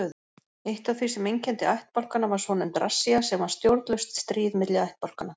Eitt af því sem einkenndi ættbálkana var svonefnd rassía sem var stjórnlaust stríð milli ættbálkanna.